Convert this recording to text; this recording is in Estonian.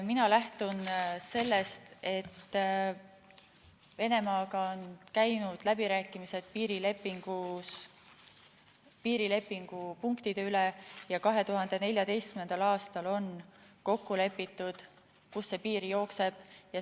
Mina lähtun sellest, et Venemaaga on käinud läbirääkimised piirilepingu punktide üle ja 2014. aastal lepiti kokku, kust see piir jookseb.